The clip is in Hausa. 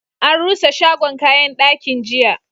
An rusa shagon kayan dakin, jiya.